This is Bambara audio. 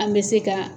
An bɛ se ka